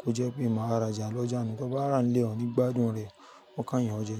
kó jẹ́ pé màá ra jàá lọ́jà nù. Tó bá ràá nilé ọ ní gbádùn rẹ̀, wọ́n kán yàn ọ jẹ.